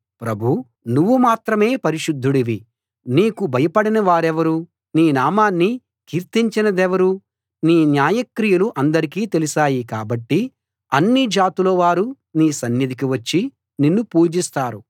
ప్రభూ నువ్వు మాత్రమే పరిశుద్ధుడివి నీకు భయపడనివారెవరు నీ నామాన్ని కీర్తించనిదెవరు నీ న్యాయక్రియలు అందరికీ తెలిశాయి కాబట్టి అన్ని జాతుల వారూ నీ సన్నిధికి వచ్చి నిన్ను పూజిస్తారు